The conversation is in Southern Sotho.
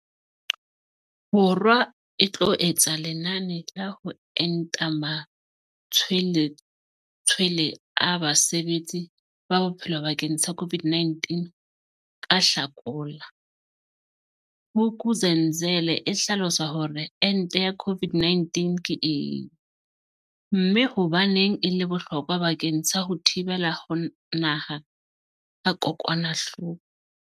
Bo rwa e tlo etsa lenane la ho enta matshwele tshwele a basebetsi ba bophelo bakeng sa COVID-19 ka Hlakola, Vuk'uzenzele e hlalosa hore ente ya COVID-19 ke eng, mme hobaneng e le bohlokwa bakeng sa ho thibela ho nama ha kokwanahloko.